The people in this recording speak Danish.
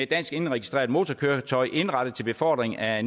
dansk indregistreret motorkøretøj indrettet til befordring af